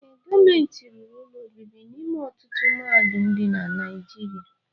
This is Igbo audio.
Ee, gọọmenti rụrụ ụlọ obibi n'ime ọtụtụ mahadum dị na Naijiriia.